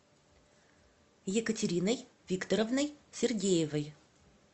екатериной викторовной сергеевой